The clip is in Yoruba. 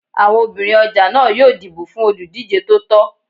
Àwọn obìnrin ọjà náà yóò dìbò fún olùdíjé tó tọ́